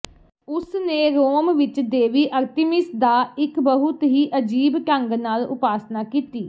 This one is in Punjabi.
ਉਸ ਨੇ ਰੋਮ ਵਿਚ ਦੇਵੀ ਅਰਤਿਮਿਸ ਦਾ ਇੱਕ ਬਹੁਤ ਹੀ ਅਜੀਬ ਢੰਗ ਨਾਲ ਉਪਾਸਨਾ ਕੀਤੀ